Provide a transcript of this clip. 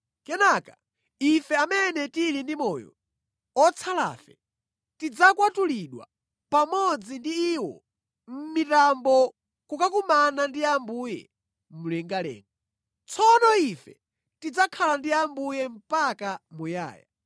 Kenaka, ife amene tili ndi moyo, otsalafe, tidzakwatulidwa pamodzi ndi iwo mʼmitambo kukakumana ndi Ambuye mlengalenga. Tsono ife tidzakhala ndi Ambuye mpaka muyaya.